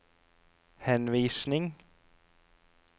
henvisning